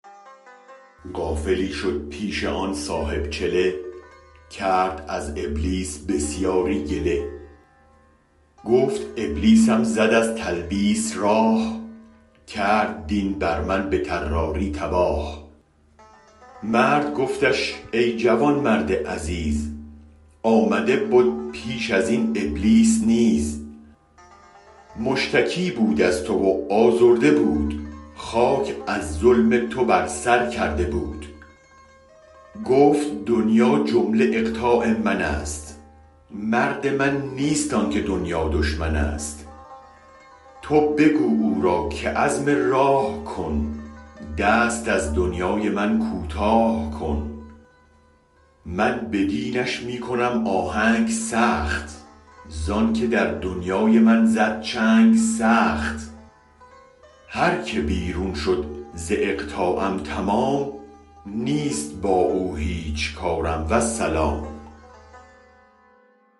غافلی شد پیش آن صاحب چله کرد از ابلیس بسیاری گله گفت ابلیسم زد از تلبیس راه کرد دین بر من به طراری تباه مرد گفتش ای جوانمرد عزیز آمده بد پیش ازین ابلیس نیز مشتکی بود از تو و آزرده بود خاک از ظلم تو بر سر کرده بود گفت دنیا جمله اقطاع منست مرد من نیست آنک دنیا دشمنست تو بگو او را که عزم راه کن دست از دنیای من کوتاه کن من به دینش می کنم آهنگ سخت زانک در دنیای من زد چنگ سخت هرک بیرون شد ز اقطاعم تمام نیست با او هیچ کارم والسلام